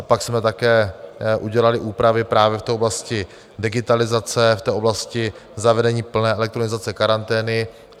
A pak jsme také udělali úpravy právě v té oblasti digitalizace, v té oblasti zavedení plné elektronizace karantény.